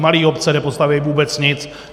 Malé obce nepostaví vůbec nic.